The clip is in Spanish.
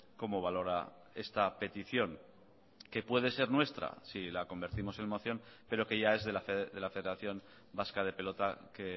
cómo valora esta petición que puede ser nuestra si la convertimos en moción pero que ya es de la federación vasca de pelota que